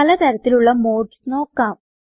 പല തരത്തിലുള്ള മോഡ്സ് നോക്കാം